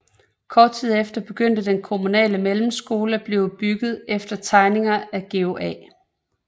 Kort tid efter begyndte den kommunale mellemskole at blive bygget efter tegninger af Georg A